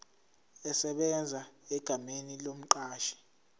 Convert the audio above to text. esebenza egameni lomqashi